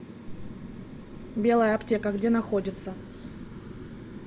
белая аптека где находится